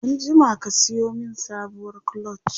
anjima ka Sayo min sabuwar clutch!